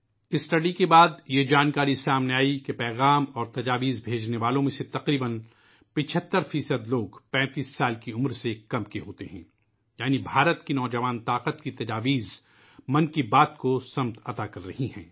مطالعے کے بعد یہ بات سامنے آئی کہ پیغامات اور تجاویز بھیجنے والوں میں تقریباً تقریباً 75 فی صد لوگ 35 سال کی عمر سے کم ہیں یعنی بھارت کی نوجوان قوت کی تجاویز '' من کی بات '' کو راستہ دکھا رہی ہیں